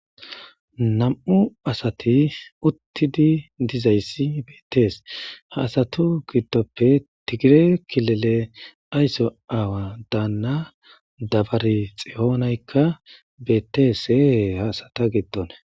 Nam7u asati uttidi dizayssi beettees ha asatu giddoppe tigire kilele aysso aawa daanna dabari xiyonaykka beetteesee haasata giddon